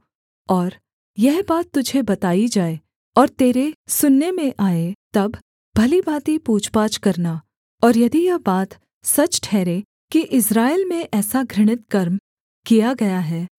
और यह बात तुझे बताई जाए और तेरे सुनने में आए तब भली भाँति पूछपाछ करना और यदि यह बात सच ठहरे कि इस्राएल में ऐसा घृणित कर्म किया गया है